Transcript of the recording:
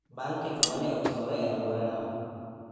bang’ ketho ma ne otimore e alworano,